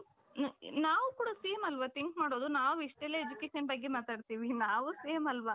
ನಾವು ಕೂಡ same ಅಲ್ವ think ಮಾಡೊದು ನಾವ್ ಇಷ್ಟ ಎಲ್ಲಾ education ಬಗ್ಗೆ ಮಾತಾಡ್ತಿವಿ ನಾವು same ಅಲ್ವ .